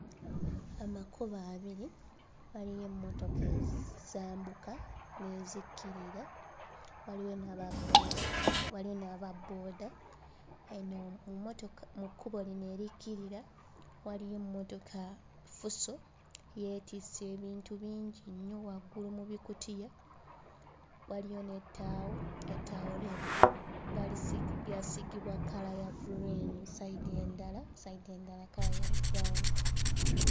Amakubo abiri, waliyo emmotoka ezambuka n'ezikkirira, waliyo n'ababbooda waliyo n'ababbooda. Eno mu mmotoka mu kkubo lino erikkirira waliyo emmotoka Fuso, yeetisse ebintu bingi nnyo waggulu mu bikutiya, waliyo n'ettaawo; ettaawo lya gu... baalisigi... lyasiigibwa kkala ya gguliini, sayidi endala sayidi endala kkala ya bulawuni.